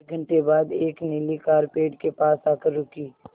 एक घण्टे बाद एक नीली कार पेड़ के पास आकर रुकी